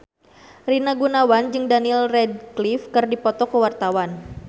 Rina Gunawan jeung Daniel Radcliffe keur dipoto ku wartawan